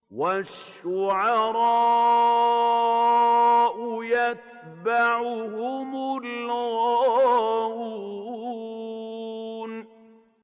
وَالشُّعَرَاءُ يَتَّبِعُهُمُ الْغَاوُونَ